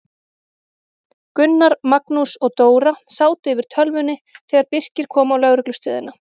Gunnar, Magnús og Dóra sátu yfir tölvunni þegar Birkir kom á lögreglustöðina.